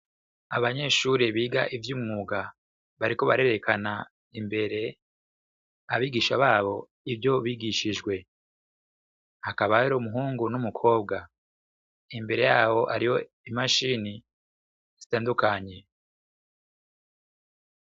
Abanyeshure biga ivyumwuga bariko barerekana imbere abigisha babo ivyo bigishije hakaba hariyo umuhungu n'umukobwa imbere yabo hariho i mashine zitandukanye .